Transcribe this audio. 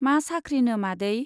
मा साख्रिनो मादै ?